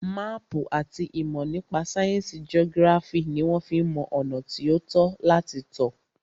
Máàpù àti ìmọ̀ nípa sáyẹnsì geography ní wọ́n fí ń mọ ọ̀nà tí o tọ́ láti tọ̀.